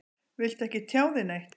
Viltu ekki tjá þig neitt?